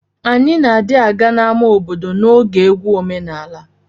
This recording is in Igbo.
Anyi na di aga na ama obodo na oge egwu omenala.